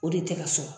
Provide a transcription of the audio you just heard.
O de tɛ ka sɔrɔ